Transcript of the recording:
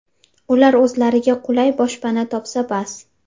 Ular o‘zlariga qulay boshpana topsa bas.